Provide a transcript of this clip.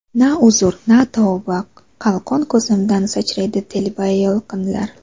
Na uzr, na tavba qalqon, Ko‘zimdan sachraydi telba yolqinlar.